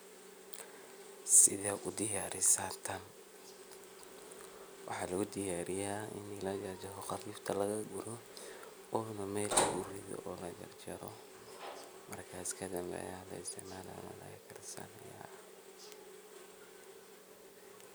Sideed udiyaarisa taan waxaan udiyaariyaa inii lagajaro qafuufta lagaaguro oo na meel lagurido oo lajarjaaro markaas kadiib na laisticmaalo ayaa lakarsanayaa.